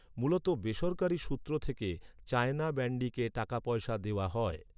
মূলত বেসরকারি সূত্র থেকে চায়না ব্যান্ডিকে টাকাপয়সাকে দেওয়া হয়।